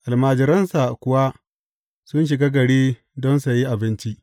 Almajiransa kuwa sun shiga gari don sayi abinci.